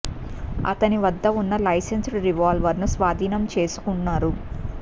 అతని వద్ద ఉన్న లైసెన్స్డ్ రివాల్వర్ ను స్వాధీనం చేసుకున్నారు